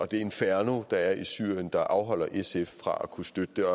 det inferno der er i syrien der afholder sf fra at kunne støtte det